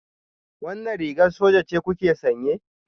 Wannan rigar soja ce kuke sanye?